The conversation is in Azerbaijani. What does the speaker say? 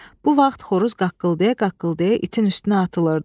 Bu vaxt xoruz qaqqıldaya-qaqqıldaya itin üstünə atılırdı.